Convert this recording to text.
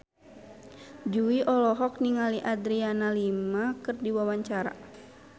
Jui olohok ningali Adriana Lima keur diwawancara